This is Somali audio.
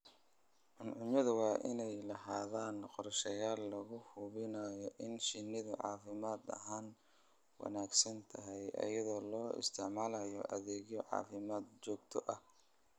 Cuncunyadu waa inay lahaadaan qorshayaal lagu hubinayo in shinnidu caafimaad ahaan wanaagsan tahay iyadoo la isticmaalayo adeegyo caafimaad oo joogto ah.